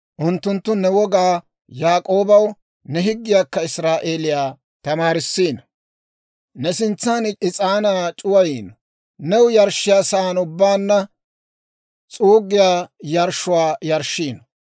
Unttunttu ne wogaa Yaak'ooba, ne higgiyaakka Israa'eeliyaa tamaarisiino. Ne sintsan is'aanaa c'uwayiino; new yarshshiyaasan ubbaanna s'uuggiyaa yarshshuwaa yarshshiino.